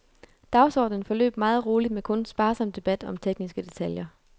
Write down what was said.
Dagsordenen forløb meget roligt med kun sparsom debat om tekniske detaljer.